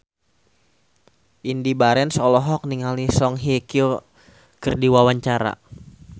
Indy Barens olohok ningali Song Hye Kyo keur diwawancara